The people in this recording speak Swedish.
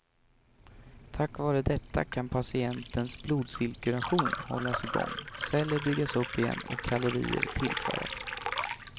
Tack vare detta kan patientens blodcirkulation hållas igång, celler byggas upp igen och kalorier tillföras.